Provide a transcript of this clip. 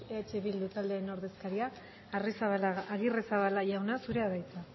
eh bildu taldearen ordezkaria agirrezabala jauna zurea da hitza